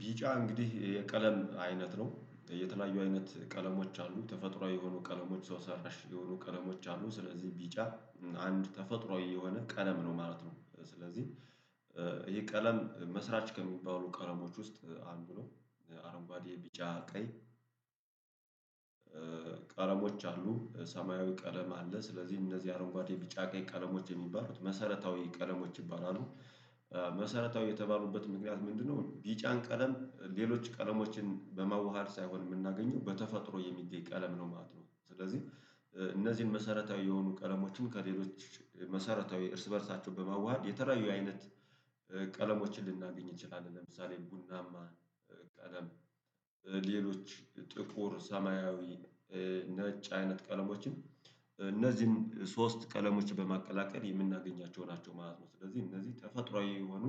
ቢጫ እንግዲህ የቀለም አይነት ነው የተለያዩ አይነት ቀለሞች አሉ ተፈጥሮአዊ የሆኑ ቀለሞች ሰው ሰራሽ የሆኑ ቀለሞች አሉ። ስለዚህ ቢጫ አንድ ተፈጥሮአዊ የሆነ ቀለም ነው ማለት ነው። ስለዚህ ይሄ ቀለም መስራች ከሚባሉ ቀረሞች ውስጥ አንዱ ነው። አረንጓዴ ቢጫ ቀይ ቀለሞች አሉ ሰማያዊ ቀለም አለ ስለዚህ እነዚህ አረንጓዴ ቢጫ ቀይ ቀለሞች የሚባሉት መሰረታዊ ቀለሞች ይባላሉ። መሰረታዊ የተባሉበት ምክንያት ምንድነው? ቢጫን ቀለም ሌሎች ቀለሞችን በመዋሃድ ሳይሆን የምናገኘው በተፈጥሮ የሚገኝ ቀለም ነው ማለት ነው። ስለዚህ እነዚህን መሰረታዊ የሆኑ ቀለሞችም ከሌሎች መሰረታዊ እርስ በእርሳቸው በማዋሃድ የተራዩ አይነት ቀለሞችን ልናገኝ እችላለሁ። ለምሳሌ ቡናማ ቀለም ሌሎች ጥቁር ሰማያዊ ነጭ አይነት ቀለሞችን እነዚህም ሶስት ቀለሞች በማቀላቀል የምናገኛቸው ናቸው ማለት ነው። ስለዚህ እነዚህ ተፈጥሮአዊ የሆኑ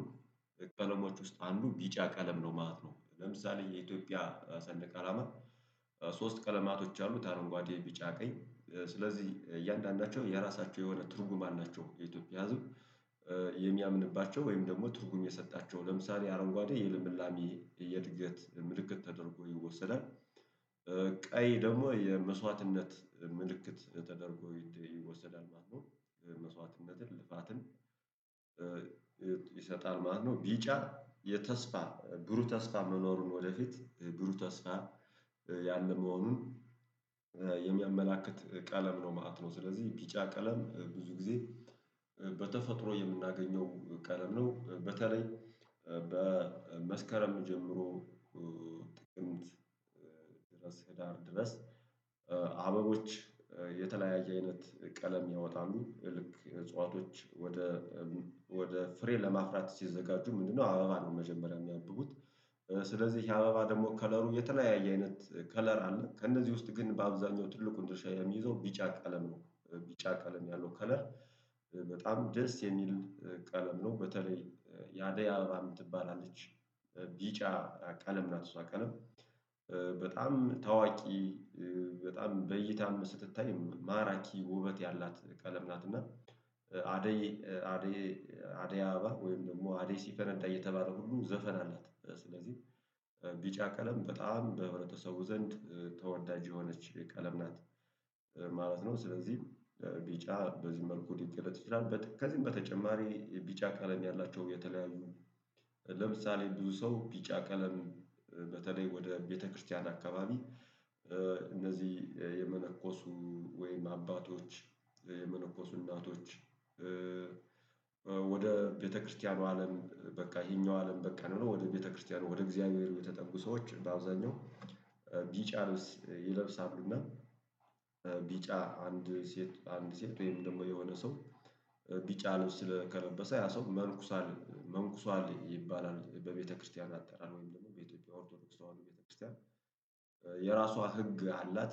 ቀለሞች ውስጥ አንዱ ቢጫ ቀለም ነው ማለት ነው። ለምሳሌ የኢትዮጵያ ሰንደቅ አላማም ሶስት ቀለማቶች አሉት አረንጓዴ ቢጫ ቀይ ስለዚህ እያንዳንዳቸው የራሳቸው የሆነ ትርጉም አላቸው። የኢትዮጵያ የሚያምንባቸው ወይም ደግሞ ትርጉም የሰጣቸው ለምሳሌ አረንጓዴ የልምላሜ የእድገት ምልክት ተደርጎ ይወሰዳል። ቀይ ደግሞ የመስዋዕትነት ምልክት ተደርጎ ይወሰዳል ማለት ነው። መስዋዕትነትን ልፋትን ይሰጣል ማለት ነው። ቢጫ የተስፋ ብሩ ተስፋ መኖሩን ወደፊት ብሩ ተስፋ ያንን መሆኑን የሚያመላክት ቀለም ነው ማለት ነው። ስለዚህ ቢጫ ቀለም ብዙ ጊዜ በተፈጥሮ የምናገኘው ቀለም ነው። በተለይ በመስከረም ጀምሮ ጥቅምት ህዳር ድረስ አበቦች የተለያየ አይነት ቀለም ያወጣሉ ልክ እጽዋቶች ወደ ወደ ፍሬ ለማፍራት ሲዘጋጁ ምንድነው አበባን መጀመሪያ የሚያብቡት? ስለዚህ የአበባ ደግሞ ከለሩ የተለያየ አይነት ከለር አለ ከእነዚህ ውስጥ ግን በአብዛኛው ትልቁን ድርሻ የሚይዘው ቢጫ ቀለም ነው። ቢጫ ቀለም ያለው ከለር በጣም ደስ የሚል ቀለም ነው። በተለይ ያደያበባ የምትባል አለች ቢጫ ቀለም ናት እሷ ቀለም በጣም ታዋቂ በጣም በይታም ስትታይ ማራኪ ውበት ያላት ቀለም ናት። እና አደይ አደያበባ ወይም ደግሞ አደይ ሲፈነዳ እየተባለ ሁሉ ዘፈን አላት። ስለዚህ ቢጫ ቀለም በጣም በህብረተሰቡ ዘንድ ተወዳጅ የሆነች ቀለም ናት ማለት ነው። ስለዚህ ቢጫ በዚህ መልኩ ሊገለጥ ይችላል። ከዚህም በተጨማሪ ቢጫ ቀለም ያላቸው የተለያዩ ለምሳሌ ብዙ ሰው ቢጫ ቀለም በተለይ ወደ ቤተክርስቲያን አካባቢ እነዚህ የመነኮሱ ወይም አባቶች የመነኮሱ እናቶች ወደ ቤተክርስቲያኑ አለም በቃ ይሄኛው አለም በቃን ብለው ወደ ቤተክርስቲያኑ ወደ እግዚአብሔር የተጠጉ ሰዎች በአብዛኛው ቢጫ ይለብሳሉና። ቢጫ አንድ ሴት አንድ ሴት ወይም ደግሞ የሆነ ሰው ቢጫ ልብስ ስለከለበሰ ያ ሰው መንኩሷል ይባላል። በቤተክርስቲያን አጠራር ወይም ደግሞ በኢትዮጵያ ኦርቶዶክስ በአሁኑ ቤተክርስቲያን የሚያመላክት ቀለም ነው ማለት ነው።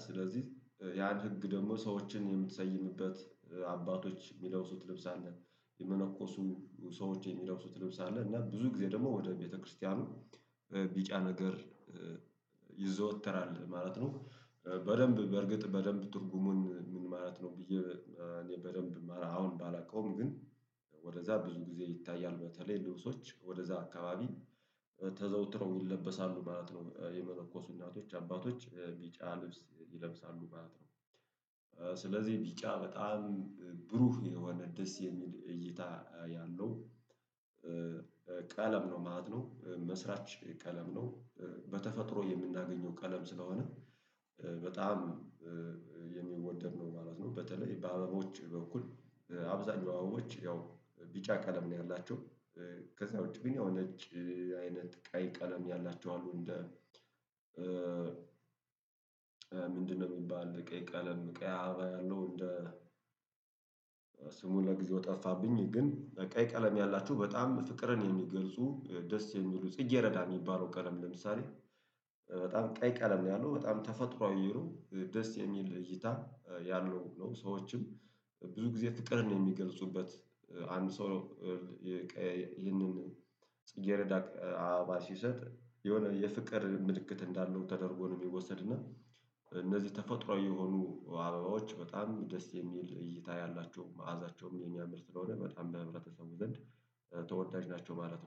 ስለዚህ ቢጫ ቀለም ብዙ ጊዜ በተፈጥሮ የምናገኘው ቀለም ነው በተለይ በመስከረም ጀምሮ ጥቅምት ህዳር ድረስ አበቦች የተለያየ አይነት ቀለም ያወጣሉ። ልክ እጽዋቶች ወደ ወደ ፍሬ ለማፍራት ሲዘጋጁ ምንድነው አባባል መጀመሪያ የሚያብቡት? ወደዛ ብዙ ጊዜ ይታያል በተለይ ልብሶች ወደዛ አካባቢ ተዘውትረው ይለበሳሉ ማለት ነው። የመነኮሱ እናቶች አባቶች ቢጫ ልብስ ይለብሳሉ ማለት ነው። ስለዚህ ቢጫ በጣም ብሩህ የሆነ ደስ የሚል እይታ ያለው ህዳር ድረስ አበቦች የተለያየ አይነት ቀለም ያወጣሉ ልክ እጽዋቶች ወደ ወደ ፍሬ ለማፍራት ሲዘጋጁ ምንድነው አበባ ነው መጀመሪያ የሚያብቡት። በተፈጥሮ የምናገኘው ቀለም ስለሆነ በጣም የሚወደድ ነው ማለት ነው። በተለይ በአበቦች በኩል አብዛኛዎቹ ያው ቢጫ ቀለም ነው ያላቸው ከዛ ውጪ ግን ያው ነጭ አይነት ቀይ ቀለም ያላቸው አሉ። እንደ ምንድነው? የሚባል ቀይ ቀለም ቀይ አያበባ ያለው እንደ ለጊዜው ጠፋብኝ ግን ቀይ ቀለም ያላችሁ በጣም ፍቅርን የሚገልጹ ደስ የሚሉ ጽጌረዳ የሚባለው ቀለም ለምሳሌ በጣም ቀይ ቀለም ነው ያለው በጣም ተፈጥሮአዊ ይሉ ደስ የሚል እይታ ያለው ነው። ሰዎችም ብዙ ጊዜ ፍቅርን የሚገልጹበት አንድ ሰው የቀየልንን ይህንን እየረዳቅ አበባ ሲሰጥ የሆነ የፍቅር ምልክት እንዳለው ተደርጎ ነው የሚወሰድና። እነዚህ ተፈጥሮአዊ የሆኑ አበባዎች በጣም ደስ የሚል እይታ ያላቸው መዓዛቸውም የኛም ምርምር ስለሆነ በጣም በህብረተሰቡ ዘንድ ተወዳጅ ናቸው ማለት ነው